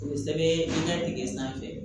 O bɛ sɛbɛn i ka dingɛ sanfɛ